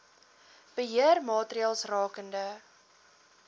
beheer maatreëls rakende